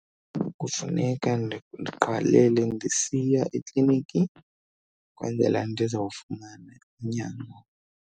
Kufuneka ndiqalele ndisiya ekliniki ukwenzela ndizawufumana unyango.